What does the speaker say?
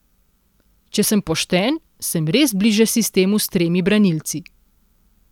Če sem pošten, sem res bliže sistemu s tremi branilci.